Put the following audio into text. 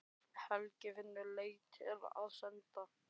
Helgi finnur leiðir til að senda